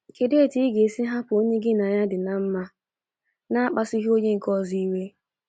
Kedu etu ị ga - esi hapụ onye gị na ya di mma n’akpasughị onye nke ọzọ iwe? ”